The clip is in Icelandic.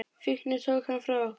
Fíknin tók hann frá okkur.